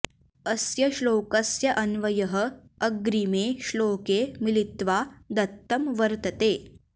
अस्य श्लोकस्य अन्वयः अग्रिमे श्लोके मिलित्वा दत्तं वर्तते